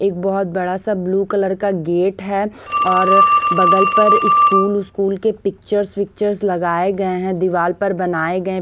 एक बहुत बड़ा सा ब्लू कलर का गेट है और बगल पर स्कूल स्कूल के पिक्चर्स पिक्चर्स लगाए गए हैं दीवार पर बनाए गए हैं।